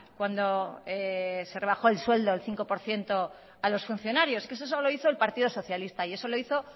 cuando se rebajó el sueldo el cinco por ciento a los funcionarios eso solo lo hizo el partido socialista y eso lo hizo